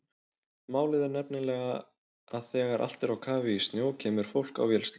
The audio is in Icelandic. Málið er nefnilega að þegar allt er á kafi í snjó kemur fólk á vélsleðum.